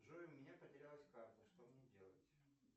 джой у меня потерялась карта что мне делать